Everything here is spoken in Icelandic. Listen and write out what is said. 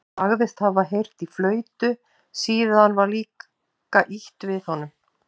Hann sagðist hafa heyrt í flautu, síðan var líka ýtt við honum.